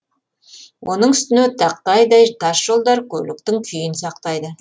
оның үстіне тақтайдай тасжолдар көліктің күйін сақтайды